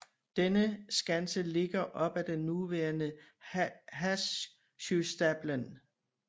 Denne skanse ligger op ad den nuværende Håsjöstapeln